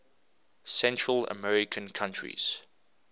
central american countries